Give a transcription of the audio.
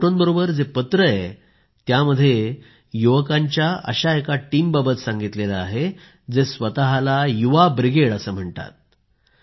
या फोटोंबरोबर जे पत्र आहे त्यामध्ये युवकांच्या अशा एका टीमबाबत सांगितले आहे जे स्वतःला युवा ब्रिगेड असे म्हणतात